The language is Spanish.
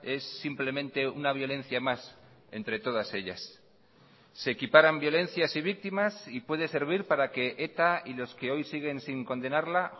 es simplemente una violencia más entre todas ellas se equiparan violencias y víctimas y puede servir para que eta y los que hoy siguen sin condenarla